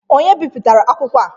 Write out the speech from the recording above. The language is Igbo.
Onye bipụtara akwụkwọ a?